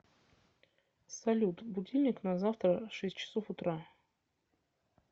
салют будильник на завтра шесть часов утра